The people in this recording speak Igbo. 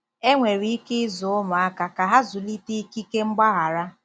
Enwere ike ịzụ ụmụaka ka ha zụlite ikike mgbaghara.